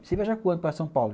Você viaja quando para São Paulo?